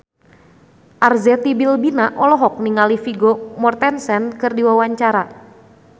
Arzetti Bilbina olohok ningali Vigo Mortensen keur diwawancara